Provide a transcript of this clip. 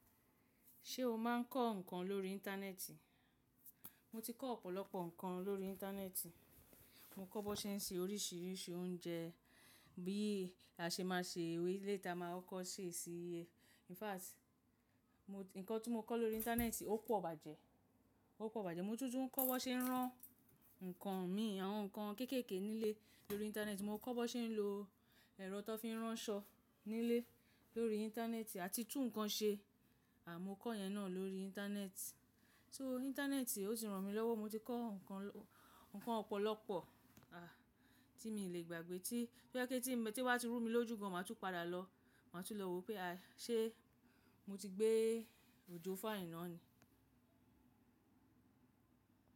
Ṣé o máa ń kọ́ ǹkan lórí Íńtánẹ́ẹ̀tì? Mo ti kọ́ ọ̀pọ̀lọpọ̀ ǹkan lórí Íńtánẹ́ẹ̀tì. Mo kọ́ bó ṣe ń se oríṣìíríṣìí oúnjẹ, bí a ṣe máa ṣe ewé le tó máa kọ́ ṣe sí i. In fact, ǹkan tí mo kọ́ lórí Íńtánẹ́ẹ̀tì ó pò bàjẹ́, ó pò bàjẹ́. Mo tún tún kọ́ bó ṣe ń rán ǹkan mi, àwọn ǹkan kéékèèké nílé lórí Íńtánẹ́ẹ̀tì. Mo kọ́ bó ṣe ń lo ẹ̀rọ tó fi ń rán ṣọ nílé lórí Íńtánẹ́ẹ̀tì àti tún ǹkan ṣe. Àì mo kọ́ yẹn náà lórí Íńtánẹ́ẹ̀tì. So Íńtánẹ́ẹ̀tì ó ti ràn mí lọ́wọ́. Mo ti kọ́ ǹkan, ǹkan ọ̀pọ̀lọpọ̀ tí mi o lè gbàgbé tí, tó jẹ̀ pé tí, tí wọ́n bá ti rú mi lójú gan, màá tún padà lọ. Màá tún lọ wo pé a ṣé mo ti gbé òjó fun àiná ni.